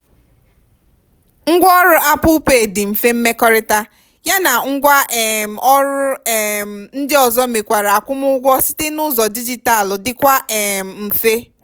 ngwa ọrụ apple pay dị mfe mmekọrịta ya na ngwa um ọrụ um ndị ozo mekwara akwụmụụgwọ site n'ụzọ dijitalu dịkwa um mfe.